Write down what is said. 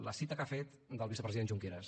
la cita que ha fet del vicepresident junqueras